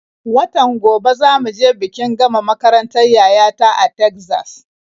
Watan gobe za mu je bikin gama makarantar yaya ta a Tegzas.